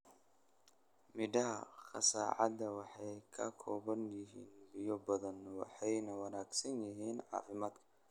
Midhaha qasacada waxay ka kooban yihiin biyo badan, waxayna wanaagsan yihiin caafimaadka.